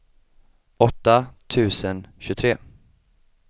åtta tusen tjugotre